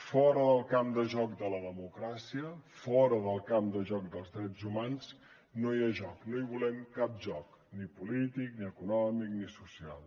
fora del camp de joc de la democràcia fora del camp de joc dels drets humans no hi ha joc no hi volem cap joc ni polític ni econòmic ni social